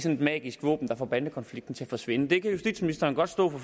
et magisk våben der får bandekonflikten til at forsvinde det kan justitsministeren godt stå på